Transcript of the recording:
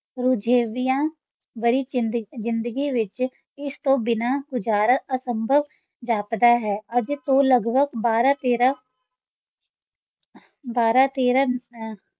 ਰੁਝੇਵਿਆਂ ਭਰੀ ਜ਼ਿੰਦ~ ਜ਼ਿੰਦਗੀ ਵਿੱਚ ਇਸ ਤੋਂ ਬਿਨਾਂ ਗੁਜ਼ਾਰਾ ਅਸੰਭਵ ਜਾਪਦਾ ਹੈ, ਅੱਜ ਤੋਂ ਲਗਭਗ ਬਾਰਾਂ ਤੇਰਾਂ ਬਾਰਾਂ ਤੇਰਾਂ ਅਹ